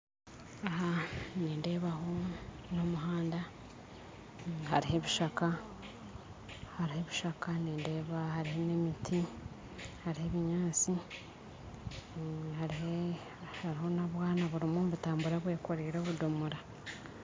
Aha nindebaho n'omuhanda hariho ebishaka hariho ebishaka nindeeba hariho n'emiti hariho ebinyansi hariho hariho nobwana buriyo nibutambura, bwekoriire obudomora